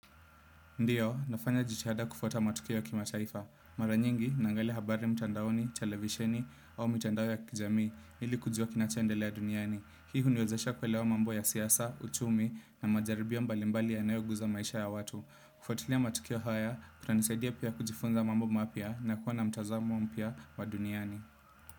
Ndiyo, nafanya jitihada kufuata matukio kimataifa. Maranyingi, naangalia habari mtandaoni, televisheni, au mtandao ya kijamii, ili kujua kinachu endelea duniani. Hii huniwezesha kuelewa mambo ya siasa, uchumi na majaribio mbalimbali yanayo guza maisha ya watu. Kufuatilia matukio haya, kuna nisaidia pia kujifunza mambo mapya nakuwa na mtazamo mpya wa duniani.